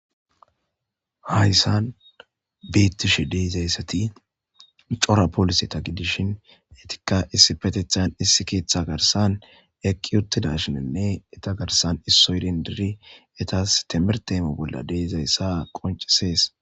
Hayssan beettishi deizayssati cora polise ta gidishin etikka issi patethan issi keeththa garsan eqqi uttida shininne eta garsan issoydin diri etas temir teemo bolla deezayssa qoncisees.